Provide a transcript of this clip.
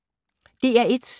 DR1